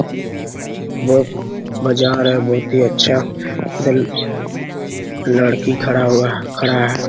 बहुत मजा आ रहा है | बहुत ही अच्छा लड़की खड़ा हुआ खड़ा है ।